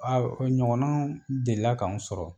o ɲɔgɔnna deli la k'an sɔrɔ.